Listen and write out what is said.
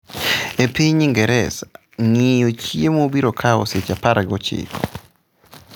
E piny Ingresa, ng’iyo chiemo biro kawo seche apargi ochiko.